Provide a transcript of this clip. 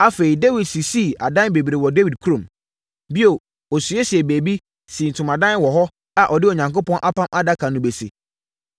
Afei, Dawid sisii adan bebree wɔ Dawid kurom. Bio, ɔsiesiee baabi, sii ntomadan wɔ hɔ a ɔde Onyankopɔn Apam Adaka no bɛsi.